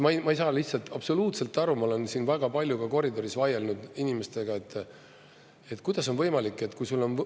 Ma ei saa absoluutselt aru, ma olen siin väga palju ka koridoris vaielnud inimestega, kuidas on võimalik, et kui sul on …